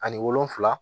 Ani wolonfila